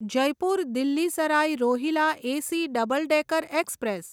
Jaipur Delhi Sarai Rohilla AC double decker express